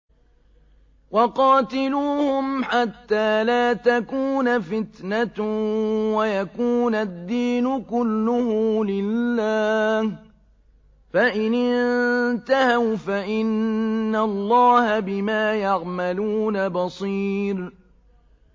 وَقَاتِلُوهُمْ حَتَّىٰ لَا تَكُونَ فِتْنَةٌ وَيَكُونَ الدِّينُ كُلُّهُ لِلَّهِ ۚ فَإِنِ انتَهَوْا فَإِنَّ اللَّهَ بِمَا يَعْمَلُونَ بَصِيرٌ